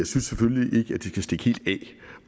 synes selvfølgelig ikke at de kan stikke helt af